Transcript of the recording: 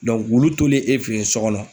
Dɔnku wulu tolen e fe yen sɔ kɔnɔ